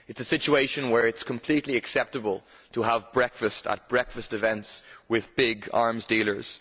It is a situation where it is completely acceptable to have breakfast at breakfast events with big arms dealers.